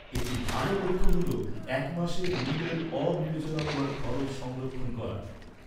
একটি ভাল লক্ষ্য হল এক মাসের মূল্যের অবিবেচনামূলক খরচ সংরক্ষণ করা।